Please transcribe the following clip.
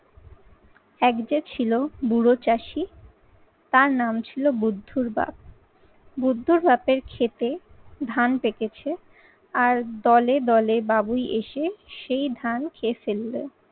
এক যে ছিল বুড়ো চাষী তার নাম ছিল বুদ্ধর বাপ। বুদ্ধর বাপের ক্ষেতে ধান পেকেছে আর দলে দলে বাবুই এসে সেই ধান খেয়ে ফেললো।